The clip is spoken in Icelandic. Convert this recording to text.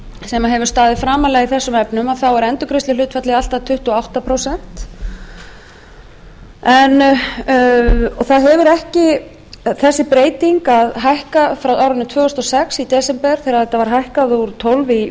sem hefur staðið framarlega í þessum efnum þá er endurgreiðsluhlutfallið allt að tuttugu og átta prósent þessi breyting að hækka frá árinu tvö þúsund og sex í desember þegar þetta var hækkað úr tólf prósent í